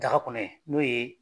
Daga kɔnɔ yen, n'o ye